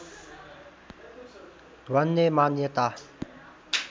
भन्ने मान्यता